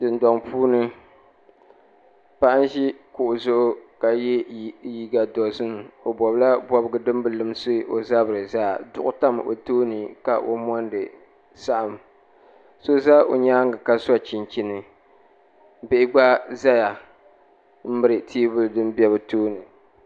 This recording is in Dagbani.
Bihi n zaya ŋɔ bipuɣiŋ bila maa nyɛla ŋun gbubi bia o nuu ni ka piri namda vakahili bihi maa nyaanga yili n zaya maa taha gba n pili ya maa yili maa gbunni dari n dɔya kɔɣa n pa yiya dundoli maa ni maa.